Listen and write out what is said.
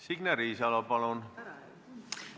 Signe Riisalo, palun!